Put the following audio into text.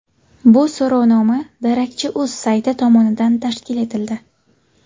Bu so‘rovnoma darakchi.uz sayti tomonidan tashkil etildi.